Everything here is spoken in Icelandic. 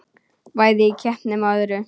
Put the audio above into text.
Bæði í keppnum og öðru.